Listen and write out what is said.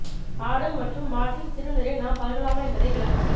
ஆடு மற்றும் மாட்டின் சிறு நீரை நாம் பருகலாமா என்பதை விளக்கவும்